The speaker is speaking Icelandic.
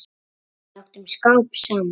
Við áttum skap saman.